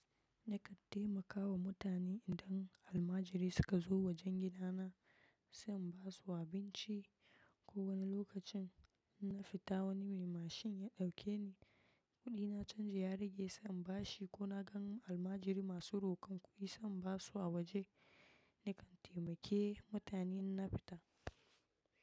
Nakan taimaka wa mutane idan almajiri suka zo wajen gidana sai in basu abinci. Ko wani lokacin na fita wani mai mashin ya ɗauke ni, kuɗina canji ya rage sam bashi ko na gan almajiri masu rokon kuɗi sam ba su a waje. Nakan taimake mutane in na fita.